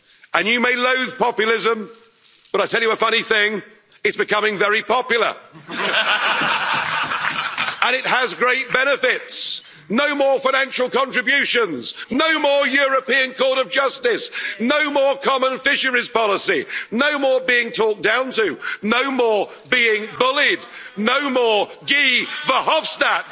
And you may loathe populism, but I'll tell you a funny thing, it's becoming very popular, and it has great benefits no more financial contributions, no more European Court of Justice, no more common fisheries policy, no more being talked down to, no more being bullied, no more Guy Verhofstadt.